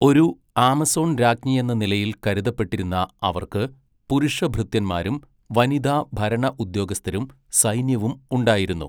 ഒരു ആമസോൺ രാജ്ഞിയെന്ന നിലയിൽ കരുതപ്പെട്ടിരുന്ന അവർക്ക് പുരുഷഭൃത്യന്മാരും വനിതാ ഭരണ ഉദ്യോഗസ്ഥരും സൈന്യവും ഉണ്ടായിരുന്നു.